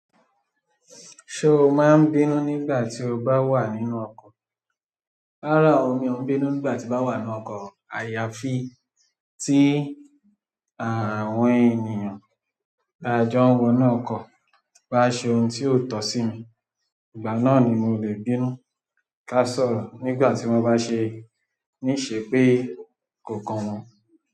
Ṣé o máa ń bínú nígbà tí o bá wà nínú ọkọ̀? Rárá o, mi ò ń bínú nígbà tí mo ba wà nínú ọkọ̀, àyàfi tí àwọn ènìyàn taajọ wọnu ọkọ, bá ṣe ohun tí ó tọ́ sí mi, ìgbà náà ni mo lè bínú ká sọ̀rọ̀ nígbà tí wọ́n bá ṣe, ní ìṣe pé kò kan wọn.